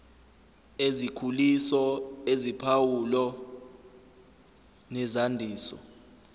ezikhuliso eziphawulo nezandiso